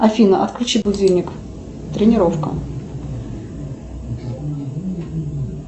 афина отключи будильник тренировка